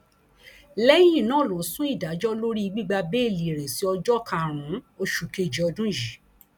lẹyìn náà ló sún ìdájọ lórí gbígba bẹẹlí rẹ sí ọjọ karùnún oṣù kejì ọdún yìí